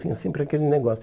Tinha sempre aquele negócio.